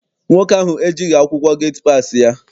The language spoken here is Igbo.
Nwoke ahụ ejighị akwụkwọ geti passi ya.